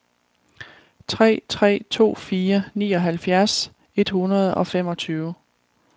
tre tre to fire nioghalvfjerds et hundrede og femogtyve